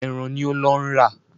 Ẹran ni ó ń lọ rà.